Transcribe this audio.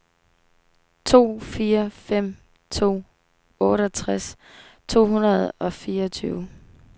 to fire fem to otteogtres to hundrede og fireogtyve